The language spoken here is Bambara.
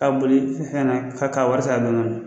Ka boli fɛn na k'a ka wari t'a